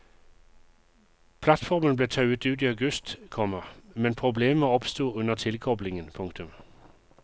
Plattformen ble tauet ut i august, komma men problemer oppsto under tilkoblingen. punktum